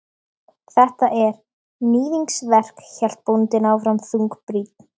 Þetta er. níðingsverk, hélt bóndinn áfram þungbrýnn.